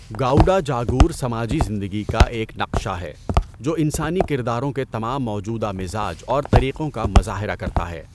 گاؤڈا جاگور سماجی زندگی کا ایک نقشہ ہے، جو انسانی کرداروں کے تمام موجودہ مزاج اور طریقوں کا مظاہرہ کرتا ہے۔